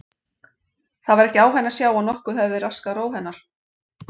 Það var ekki á henni að sjá að nokkuð hefði raskað ró hennar.